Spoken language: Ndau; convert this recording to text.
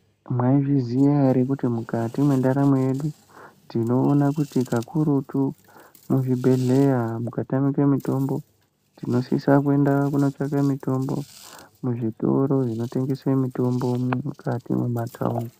Mwaizviziya here kuti mwukati mwendaramo yedu, tinoona kuti kakurutu muzvibhedhleya kana mukatamika mitombo, tinosisa kunotsvake mutombo muzvitoro zvinotengese mitombo, mwukati mematawuni.